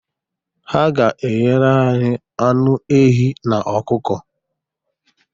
Ha ga-eghere anyị anụ ehi na ọkụkọ.